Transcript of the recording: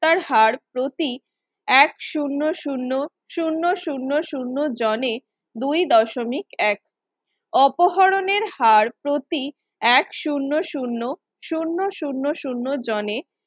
তার হার প্রতি এক শূন্য শূন্য শূন্য শূন্য শূন্য জানে দুই দশমিক এক। অপহরণের হাড় প্রতি এক শূন্য শূন্য শূন্য শূন্য শূন্য জনে